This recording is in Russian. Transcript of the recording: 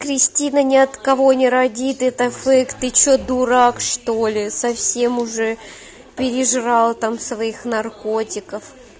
кристина ни от кого не родит это фейк ты что дурак что ли совсем уже пережрал там своих наркотиков